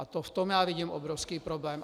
A v tom já vidím obrovský problém.